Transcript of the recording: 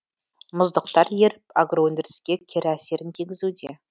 мұздықтар еріп агроөндіріске кері әсерін тигізуде